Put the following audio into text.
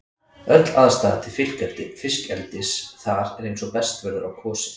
Öll aðstaða til fiskeldis þar er eins og best verður á kosið.